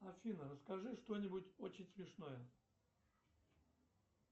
афина расскажи что нибудь очень смешное